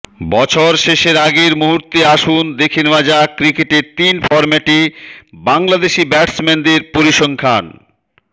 বছর শেষের আগ মুহূর্তে আসুন দেখে নেওয়া যাক ক্রিকেটের তিন ফরম্যাটে বাংলাদেশি ব্যাটসম্যানদের পরিসংখ্যানঃ